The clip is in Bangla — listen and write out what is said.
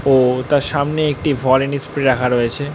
ও-ও তার সামনে একটি ভোলেনি স্প্রে রাখা রয়েছে।